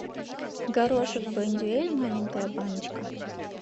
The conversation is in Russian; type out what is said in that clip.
горошек бондюэль маленькая баночка